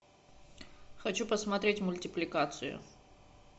хочу посмотреть мультипликацию